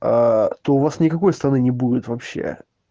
то у вас никакой страны не будет вообще